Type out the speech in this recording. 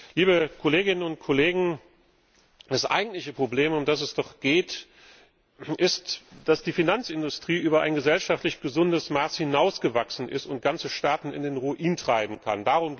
Liebe Kolleginnen und Kollegen! Das eigentliche Problem, um das es geht, ist doch, dass die Finanzindustrie über ein gesellschaftlich gesundes Maß hinaus gewachsen ist und ganze Staaten in den Ruin treiben kann.